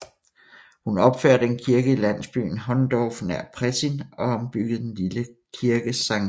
Hun opførte en kirke i landsbyen Hohndorf nær Prettin og ombyggede den lille kirke St